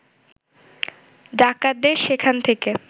ডাকাতদের সেখান থেকে